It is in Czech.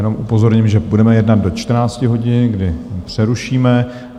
Jenom upozorním, že budeme jednat do 14 hodin, kdy přerušíme.